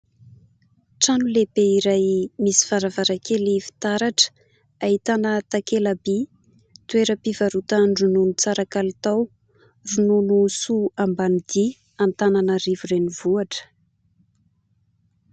Trano lehibe iray misy varavarankely fitaratra, ahitana takela-by : "toeram-pivarotan-dronono tsara kalitao ronono soa Ambanidia" Antananarivo renivohitra.